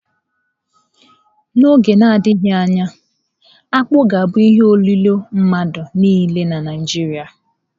N'oge na-adịghị anya, akpu ga-abụ ihe olilo mmadụ niile na Naịjirịa.